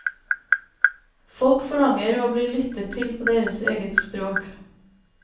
Folk forlanger å bli lyttet til på deres eget språk.